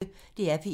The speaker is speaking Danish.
DR P1